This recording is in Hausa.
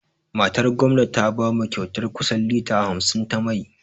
Matar gwamna ta bamu kyautar kusan lita hamsin ta mai.